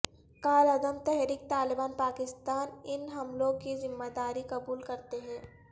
کالعدم تحریک طالبان پاکستان ان حملوں کی ذمہ داری قبول کرتے ہیں